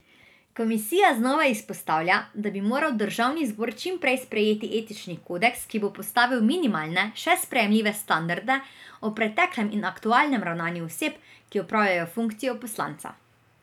Komisija znova izpostavlja, da bi moral državni zbor čim prej sprejeti etični kodeks, ki bo postavil minimalne, še sprejemljive standarde o preteklem in aktualnem ravnanju oseb, ki opravljajo funkcijo poslanca.